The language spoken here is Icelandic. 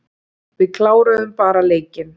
Við kláruðu bara leikinn.